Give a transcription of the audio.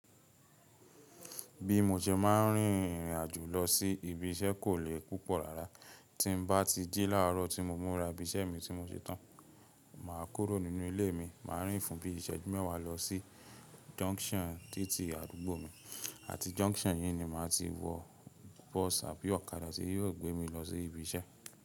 Bí mo ṣe máà ń rìnrìn àjò lọ sí ibi iṣẹ́ kò le púpọ̀ rárá. Tí n bá ti jí láàárọ̀ tí mo múra ibi iṣẹ́ mi tí mo ṣe tán, mà a kúrò nínú ilé mi, mà a rìn fún bí iṣẹ́jú mẹ́wàá lọ sí junction títí àdúgbò mi àti junction yí ni mà a ti wọ bọ́ọ̀sì àbí ọ̀kadà tí yóò gbé mi lọ sí ibi iṣẹ́.